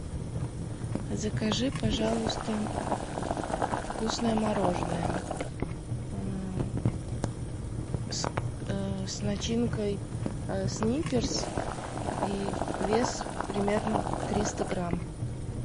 закажи пожалуйста вкусное мороженое с начинкой сникерс и вес примерно триста грамм